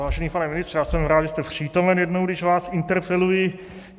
Vážený pane ministře, já jsem rád, že jste přítomen jednou, když vás interpeluji.